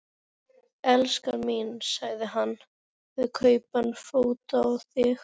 elskan mín, sagði hann, við kaupum föt á þig.